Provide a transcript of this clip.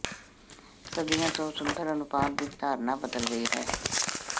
ਸਦੀਆਂ ਤੋਂ ਸੁੰਦਰ ਅਨੁਪਾਤ ਦੀ ਧਾਰਨਾ ਬਦਲ ਗਈ ਹੈ